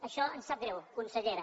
això em sap greu consellera